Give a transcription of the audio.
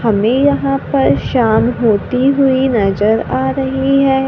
हमें यहां पर शाम होती हुईं नजर आ रही हैं।